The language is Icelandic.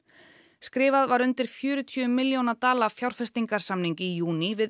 skrifað var undir fjörutíu milljóna dala fjárfestingarsamning í júní við